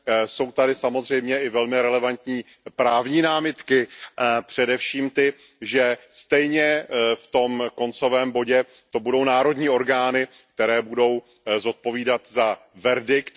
Jsou tady samozřejmě i velmi relevantní právní námitky, především ty, že stejně v tom koncovém bodě to budou národní orgány, které budou zodpovídat za verdikt.